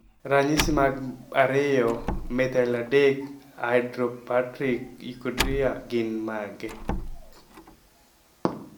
Ranyisi mag 2 methyl 3 hydroxybutyric aciduria gin mage?